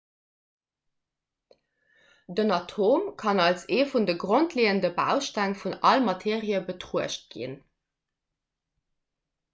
den atom kann als ee vun de grondleeënde bausteng vun all materie betruecht ginn